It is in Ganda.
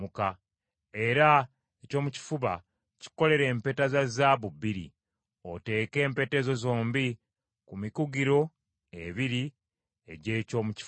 Era ekyomukifuba kikolere empeta za zaabu bbiri, oteeke empeta ezo zombi ku mikugiro ebiri egy’ekyomu kifuba.